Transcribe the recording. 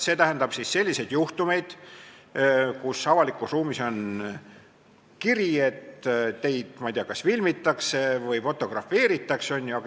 See tähendab selliseid juhtumeid, kui avalikus ruumis on kiri, et teid, ma ei tea, kas filmitakse või fotografeeritakse.